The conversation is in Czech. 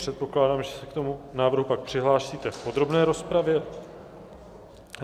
Předpokládám, že se k tomu návrhu pak přihlásíte v podrobné rozpravě.